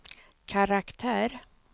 karaktär